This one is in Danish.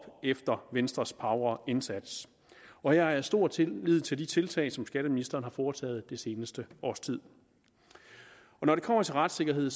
efter venstres pauvre indsats og jeg har stor tillid til de tiltag som skatteministeren har foretaget det seneste års tid når det kommer til retssikkerheden